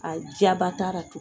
A diyaba taara tu